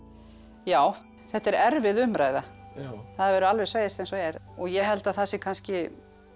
já þetta er erfið umræða það verður alveg að segjast eins og er ég held að það sé kannski